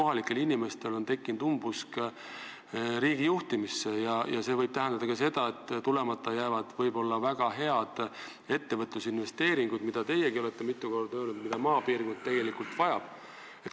Kohalikel inimestel on tekkinud umbusk, nad ei usu riigi tarka juhtimisse ja see võib tähendada ka seda, et tulemata jäävad võib-olla väga head ettevõtlusinvesteeringud, mida maapiirkond tegelikult vajab, nagu teiegi olete öelnud.